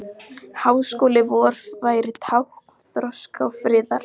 Háskóli vor væri tákn þroska og friðar.